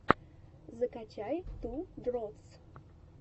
закачай ту дротс